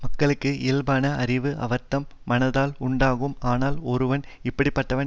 மக்களுக்கு இயல்பான அறிவு அவர்தம் மனததால் உண்டாகும் ஆனால் ஒருவன் இப்படி பட்டவன்